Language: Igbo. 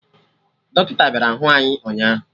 Dọkịta bịara hụ anyị ụnyaahụ